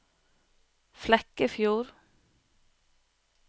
Flekkefjord